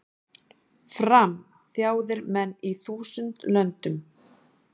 Fram, þjáðir menn í þúsund löndum,